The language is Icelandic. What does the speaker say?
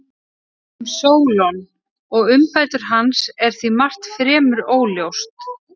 Um Sólon og umbætur hans er því margt fremur óljóst.